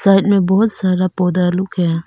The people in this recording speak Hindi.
साइड मे बहुत सारा पौधा लोग है।